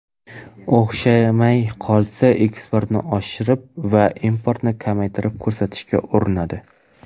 O‘xshamay qolsa, eksportni oshirib va importni kamaytirib ko‘rsatishga urinadi.